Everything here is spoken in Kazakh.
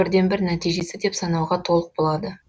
бірден бір нәтижесі деп санауға толық болады